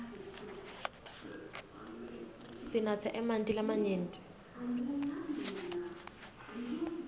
sinatse emanti lamanyenti